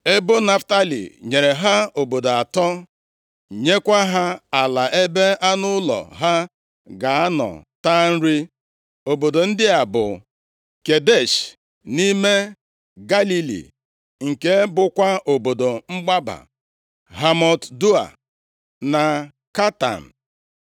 Ebo Naftalị nyere ha obodo atọ, nyekwa ha ala ebe anụ ụlọ ha ga-anọ taa nri. Obodo ndị a bụ, Kedesh, nʼime Galili, nke bụkwa obodo mgbaba, Hamot Doa na Katan.